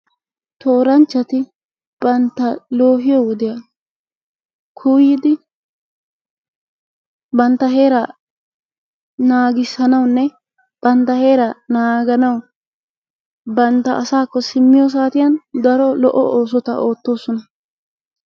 Tooranchchati bantta loohiyo wodiya kuuyyidi bantta heeraa naagissanawunne bantta heeraa naaganawu bantta asaakko simmiyo saatiyan daro lo"o oosota oottoosona.